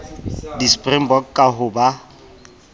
di springbok ka ho ba